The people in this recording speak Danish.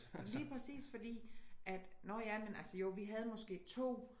Lige præcis fordi at nåh ja men altså jo vi havde måske 2